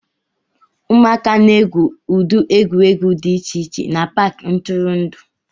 Ụmụaka na-egwu ụdị egwuregwu dị iche iche na Paakị ntụrụndụ